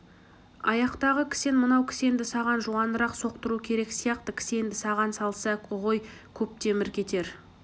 аяқтағы кісен мынау кісенді саған жуанырақ соқтыру керек сияқты кісенді саған салса ғой көп темір кетер